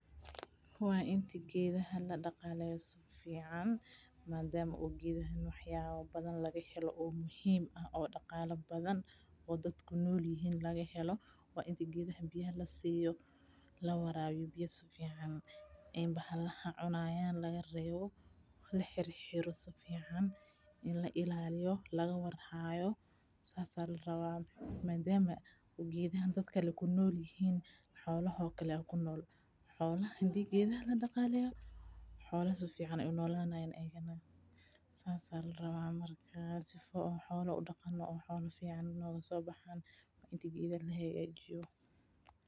Waa intimate gedaha ladaqaleyto sifican madama gedaha wax yaba badan lagahelo oo muhim ah oo daqala badan oo dad kunolyihin lagaheo, wainte gedaha biyaha lasiyo, lawarawiyo biyah sifican ee bahalaha cunayan lagarebo hariro sifican inla ilaliyo marka laga war hayo sidas aa larawa madama gedaha dadka kunolyihin xoloh oo kale a kunol, xolah hadi gedah ladaqaleyo holah sifican ay kunolyihin, sas a laraba markas sifo xola u daqano oo xola fican nogaso baxan wa intigedah lahagajiyo.